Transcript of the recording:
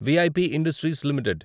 we I P industries limited